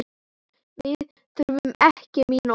Við þurfum ekki mín orð.